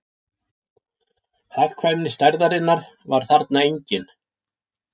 Hagkvæmni stærðarinnar var þarna engin